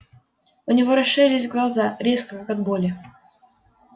у него расширились глаза резко от боли